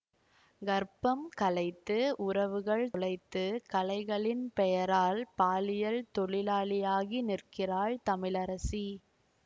கர்ப்பம் கலைத்து உறவுகள் தொலைத்து கலைகளின் பெயரால் பாலியல் தொழிலாளியாகி நிற்கிறாள் தமிழரசி